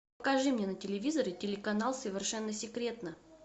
покажи мне на телевизоре телеканал совершенно секретно